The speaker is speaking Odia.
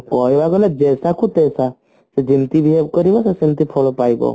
କହିବାକୁ ଗଲେ ଯେସାକୁ ତେସା ଯେ ଯେମତି behave କରିବା ସେ ସେମତି ଫଳ ପାଇବ